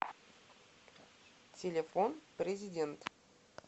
телефон президент